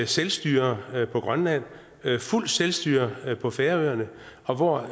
selvstyre på grønland fuldt selvstyre på færøerne og hvor